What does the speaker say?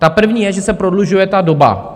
Ta první je, že se prodlužuje ta doba.